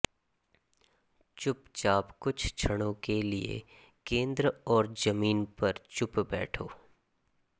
चुपचाप कुछ क्षणों के लिए केंद्र और जमीन पर चुप बैठो